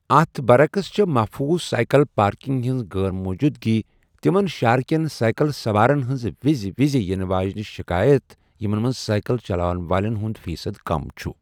اَتھ برعَکس چھےٚ، محفوظ سایکل پارکِنٛگ ہِنٛز غٲر موجودگی تِمن شہرٕ کیٚن سایکَل سَوارن ہِنٛز وِزِ وِزِ یِنہٕ واجیٚنہِ شِکایت یِمن منٛز سایکل چلاون وٲلین ہٗند فیٖصد کم چھٗ ۔